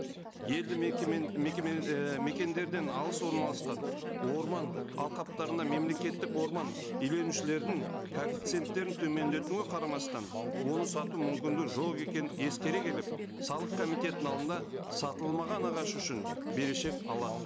елді ііі мекендерден алыс орналасқан орман алқаптарына мемлекеттік орман иеленушілердің коэффициенттерін төмендетуге қарамастан оны сату мүмкіндігі жоқ екенін ескере келіп салық комитетінің алдында сатылмаған ағаш үшін берешек алады